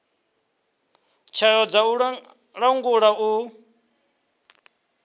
tswayo dza u langula u